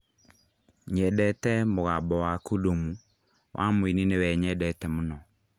nyendete mũgambo wa kudumu wa mũini nĩwe nyendete mũno.